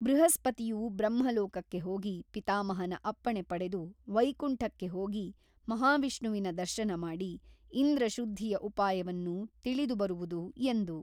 ಬೃಹಸ್ಪತಿಯು ಬ್ರಹ್ಮಲೋಕಕ್ಕೆ ಹೋಗಿ ಪಿತಾಮಹನ ಅಪ್ಪಣೆ ಪಡೆದು ವೈಕುಂಠಕ್ಕೆ ಹೋಗಿ ಮಹಾವಿಷ್ಣುವಿನ ದರ್ಶನಮಾಡಿ ಇಂದ್ರಶುದ್ಧಿಯ ಉಪಾಯವನ್ನು ತಿಳಿದುಬರುವುದು ಎಂದು.